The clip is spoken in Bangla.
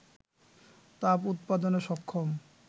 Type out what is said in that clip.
তাপ উৎপাদনে সক্ষম